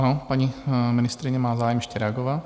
Ano, paní ministryně má zájem ještě reagovat.